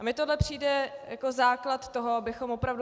A mně tohle přijde jako základ toho, abychom opravdu...